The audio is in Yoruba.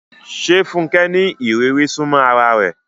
Ṣé Funke ní ìrírí súnmọ́ ara rẹ̀?